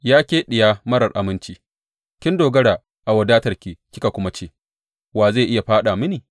Ya ke diya marar aminci, kin dogara a wadatarki kika kuma ce, Wa zai iya fāɗa mini?’